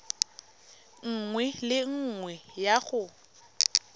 nngwe le nngwe ya go